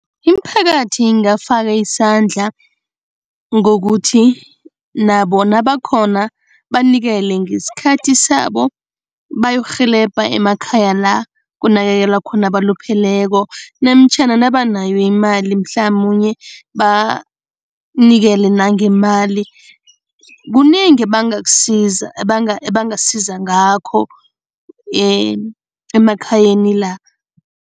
Imiphakathi ingafaka isandla ngokuthi nabo nabakhona banikele ngesikhathi sabo bayokurhelebha emakhaya la kunakekelwa khona abalupheleko namtjhana nabanayo imali, mhlamunye banikele nangemali, kunengi ebangakusiza ebangasiza ngakho emakhayeni la.